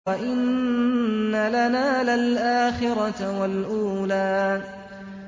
وَإِنَّ لَنَا لَلْآخِرَةَ وَالْأُولَىٰ